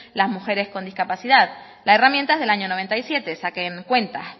las mujeres con discapacidad la herramienta es del año noventa y siete saquen cuentas